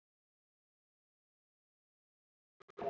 En það er komið mitt sumar!